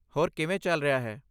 ਹੋਰ ਕਿਵੇਂ ਚੱਲ ਰਿਹਾ ਹੈ?